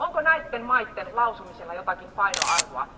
Onko näiden maiden lausumilla jotakin painoarvoa?